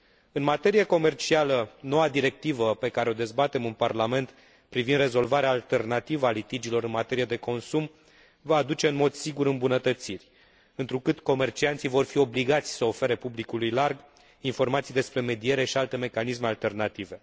În materie comercială, noua directivă pe care o dezbatem în Parlament, privind rezolvarea alternativă a litigiilor în materie de consum, va aduce în mod sigur îmbunătățiri, întrucât comercianții vor fi obligați să ofere publicului larg informații despre mediere și alte mecanisme alternative.